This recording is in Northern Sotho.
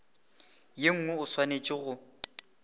ye nngwe o swanetše go